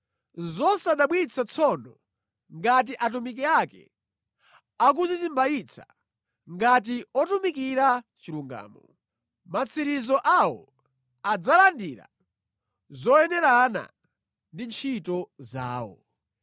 Nʼzosadabwitsa tsono ngati atumiki ake akudzizimbayitsa ngati otumikira chilungamo. Matsiriziro awo adzalandira zoyenerana ndi ntchito zawo.